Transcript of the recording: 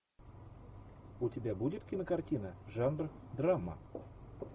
у тебя будет кинокартина жанр драма